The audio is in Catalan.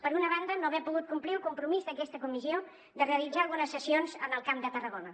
per una banda no haver pogut complir el compromís d’aquesta comissió de realitzar algunes sessions en el camp de tarragona